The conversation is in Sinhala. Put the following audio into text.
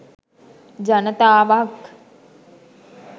ජනතාවක්